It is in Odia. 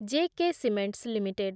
J K cements limited